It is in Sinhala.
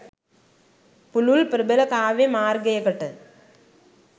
පුළුල් ප්‍රබල කාව්‍ය මාර්ගයකට